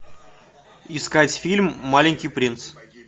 искать фильм маленький принц